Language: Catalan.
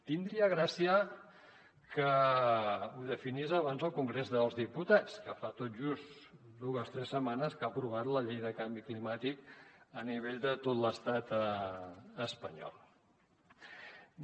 tindria gràcia que ho definís abans el congrés dels diputats que fa tot just dues tres setmanes que ha aprovat la llei de canvi climàtic a nivell de tot l’estat espanyol